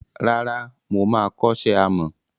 Rárá, moma kọ́ṣẹ́ àmọ́.